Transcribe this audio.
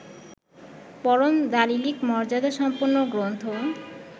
পরম দালিলিক মর্যাদাসম্পন্ন গ্রন্থ